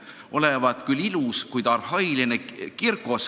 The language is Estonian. Olevat küll ilus, kuid arhailine.